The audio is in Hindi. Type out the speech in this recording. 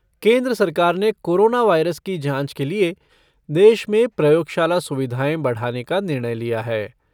केंद्र सरकार ने कोरोना वायरस की जाँच के लिए देश में प्रयोगशाला सुविधाएं बढ़ाने का निर्णय लिया है।